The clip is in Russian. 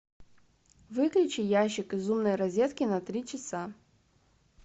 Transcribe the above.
выключи ящик из умной розетки на три часа